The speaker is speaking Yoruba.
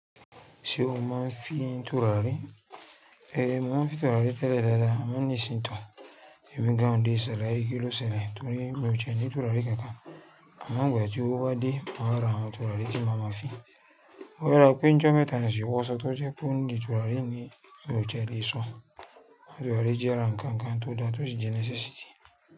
Ṣé o máa ń fi ń turárí? Ẹ̀, mo máa ń fi turárí tẹ́lẹ̀ dáadáa, àmọ́ ní ìsìn tòun, èmi gan an dé ṣàlàyé kílóselẹ̀ torí mi ò tiẹ́ ní turárí kankan. Àmọ́ nígbà tí ówo ba dé, màá ra àwọn turárí tí ma ma fi. Wáyà pín jọ mẹ́ta ni ṣe wọ́ sọ tó jẹ́ pé òun ni turárí ni lò jẹ́ lè sọ̀. Tòrárí jẹ́ àràǹkankan tó dára tó ti jẹ́ neccessíty.